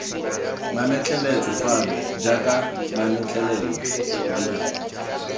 mametleletswe fano jaaka mametlelelo b